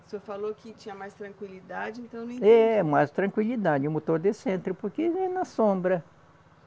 O senhor falou que tinha mais tranquilidade, então. É, mais tranquilidade, o motor de centro, porque vai na sombra.